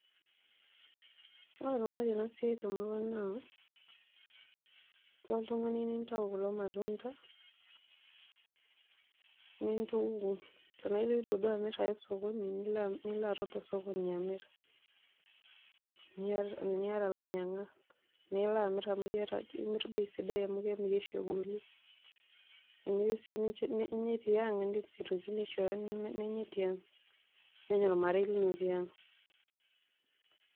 Ore enaikunari ena siai tmurua ang naa ilo oltungani nintayu kulo matunda, nintuku, tenaa iloito duo amirr aya oskoni nilo aton tosokoni amirr teniata lainyangak nilo amirr amu keirri bei sidai amuu kemirri oshi egoli. Teniyieu sii ninya tiang indim sii aishoi nenyae tiang, nenya olmarei lino tiang.